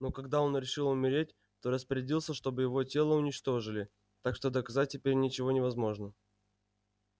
но когда он решил умереть то распорядился чтобы его тело уничтожили так что доказать теперь ничего невозможно